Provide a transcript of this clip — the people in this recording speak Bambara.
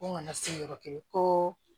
Ko n kana se yɔrɔ kelen ko